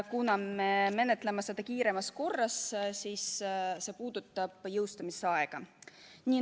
Kuna me menetleme seda kiiremas korras, siis see puudutab jõustumisaega.